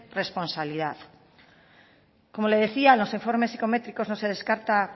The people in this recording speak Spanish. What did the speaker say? responsabilidad como le decía en los informes psicométricos no se descarta